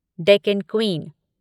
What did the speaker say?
Deccan queen